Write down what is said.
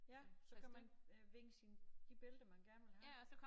Ja så kan man øh vinke sine de billeder man gerne vil have